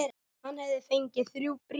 Hann hafði fengið þrjú bréf.